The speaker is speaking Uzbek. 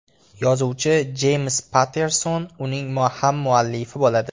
Yozuvchi Jeyms Patterson uning hammuallifi bo‘ladi.